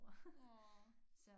Nåå